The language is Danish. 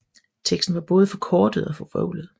Teksten var både forkortet og forvrøvlet